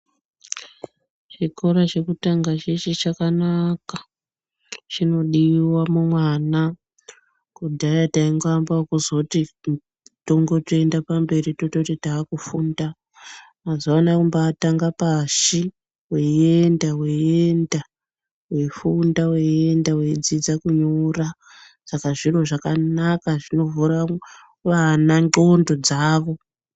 Chikora chekutanga cheshe chakanaka chinodiwa mumwana kudhaya taingoamba ekuzoti tongotoenda pamberi tototi takufunda mazuvaanaya kumbaatanga pashi weyienda weyienda weifunda weyienda weidzidza kunyora saka zviro zvakanaka zvinovhura vana nxondo dzavo.